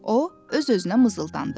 O öz-özünə mızıldandı.